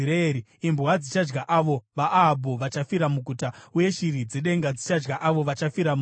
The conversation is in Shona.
“Imbwa dzichadya avo vaAhabhu vachafira muguta, uye shiri dzedenga dzichadya avo vachafira musango.”